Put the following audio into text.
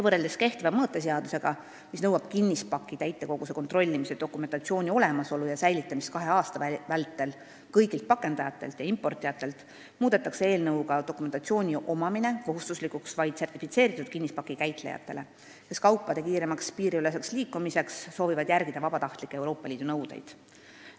Võrreldes kehtiva mõõteseadusega, mis nõuab kõigilt pakendajatelt ja importijatelt kinnispaki täitekoguse kontrollimise dokumentatsiooni olemasolu ja säilitamist kahe aasta vältel, muudetakse eelnõuga dokumentatsiooni omamine kohustuslikuks vaid sertifitseeritud kinnispaki käitlejatele, kes kaupade kiiremaks piiriüleseks liikumiseks soovivad järgida nõudeid, mille täitmine ei ole Euroopa Liidus kohustuslik.